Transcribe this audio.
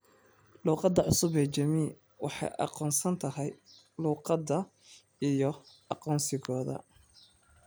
Luuqadda cusub ee Jamiii waxay aqoonsan tahay luuqadda iyo aqoonsigooda.